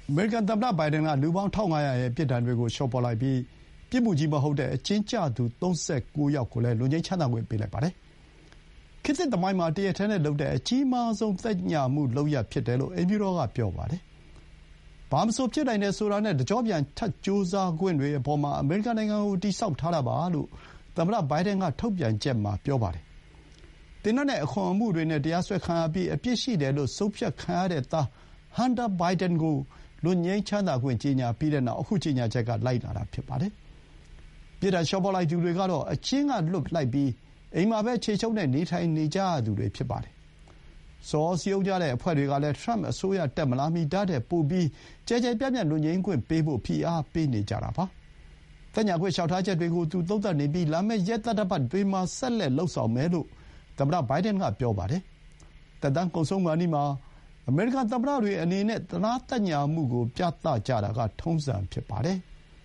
အမေရိကန် သမ္မတ ဘိုင်ဒန် က လူပေါင်း ၁၅၀၀ ရဲ့ ပြစ်ဒဏ်တွေကို လျှော့ပေါ့လိုက်ပြီး ပြစ်မှုကြီး မဟုတ်တဲ့ အကျဥ်းကျသူ ၃၉ ယောက်ကိုလည်း လွတ်ငြိမ်းချမ်းသာခွင့် ပေးလိုက်ပါတယ်။ ခေတ်သစ် သမိုင်းမှာ တရက်တည်းနဲ့လုပ်တဲ့ အကြီးမားဆုံး သက်ညှာမှု လုပ်ရပ်ဖြစ်တယ်လို့ အိမ်ဖြူတော်က ပြောပါတယ်။ ဘာမဆို ဖြစ်နိုင်တယ် ဆိုတာ နဲ့ တကျော့ပြန် ထပ်ကြိုးစားခွင့်တွေ အပေါ်မှာ အမေရိကန် နိုင်ငံကို တည်ဆောက်ထားတာပါ လို့ သမ္မတ ဘိုင်ဒန် က ထုတ်ပြန်ချက်မှာ ပြောပါတယ်။ သေနတ်နဲ့ အခွန်မှုတွေနဲ့ တရားစွဲခံရပြီး အပြစ်ရှိတယ်လို့ ဆုံးဖြတ်ခံရတဲ့ သား Hunter Biden ကို လွတ်ငြိမ်းချမ်းသာခွင့် ကြေညာပြီးတဲ့နောက် အခု ကြေညာချက်က လိုက်လာတာ ဖြစ်ပါတယ်။ ပြစ်ဒဏ် လျှော့ပေါ့လိုက်သူတွေ ကတော့ အကျဥ်းက လွှတ်လိုက်ပြီး အိမ်မှာပဲ ခြေချုပ်နဲ့ နေထိုင်နေကြရသူတွေ ဖြစ်ပါတယ်။ ဆော်ဩစည်းရုံးကြတဲ့ အဖွဲ့တွေကလည်း ထရမ့် အစိုးရ တက်မလာမီ ဒါ့ထက်ပိုပြီး ကျယ်ကျယ်ပြန့်ပြန့် လွတ်ငြိမ်းခွင့်ပေးဖို့ ဖိအားပေးနေကြတာပါ။ သက်ညှာခွင့် လျှောက်ထားချက်တွေကို သူသုံးသပ်နေပြီး လာမယ့် ရက်သတ္တပတ်တွေမှာ ဆက်လက် လုပ်ဆောင်မယ်လို့ သမ္မတ ဘိုင်ဒန်က ပြောပါတယ်။ သက်တမ်း ကုန်ဆုံးခါနီးမှာ အမေရိကန် သမ္မတတွေ အနေနဲ့ သနားသက်ညှာမှုကို ပြသကြတာက ထုံးစံဖြစ်ပါတယ်။